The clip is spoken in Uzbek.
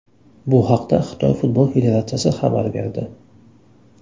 Bu haqda Xitoy futbol federatsiyasi xabar berdi .